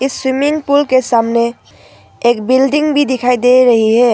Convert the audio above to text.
Swimming pool के सामने एक बिल्डिंग भी दिखाई दे रही है।